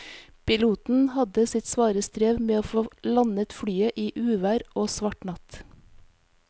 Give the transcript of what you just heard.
Piloten hadde sitt svare strev med å få landet flyet i uvær og svart natt.